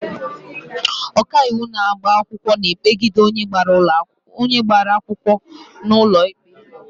Ọkaiwu na-agba akwụkwọ na-ekpegide onye agbara akwụkwọ n'ụlọ ikpe.